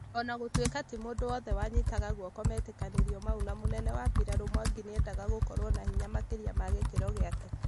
Ona gũtuika ti mũndũ wothe wanyitaga guoko metĩkanĩrio mau na mũnene wa mbirarũ Mwangi nĩendaga gũkorwo na hinya makĩria ma gĩkĩro gĩake